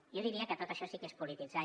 jo diria que tot això sí que és polititzar i